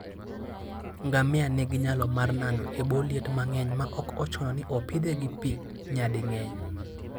Ngamia nigi nyalo mar nano e bwo liet mang'eny maok ochuno ni opidhe gi pi nyading'eny.